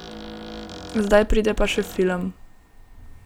Zdaj pride pa še film.